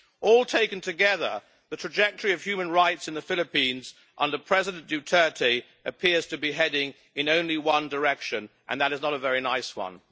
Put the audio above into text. All taken together, the trajectory of human rights in the Philippines under President Duterte appears to be heading in only one direction, and that is not a very nice one.